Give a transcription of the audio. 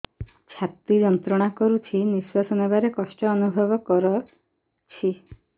ଛାତି ଯନ୍ତ୍ରଣା କରୁଛି ନିଶ୍ୱାସ ନେବାରେ କଷ୍ଟ ଅନୁଭବ କରୁଛି